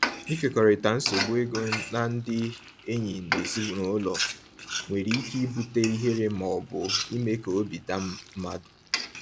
Ịkekọrịta nsogbu ego na ndị enyi na ezinụlọ nwere ike ibute ihere ma ọ bụ ime ka obi daa mmadụ.